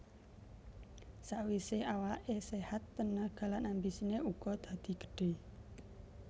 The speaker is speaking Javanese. Sakwise awake séhat tenaga lan ambisine uga dadi gedhe